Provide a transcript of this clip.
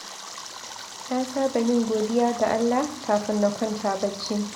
Na saba yin godiya ga Allah kafin na kwanta bacci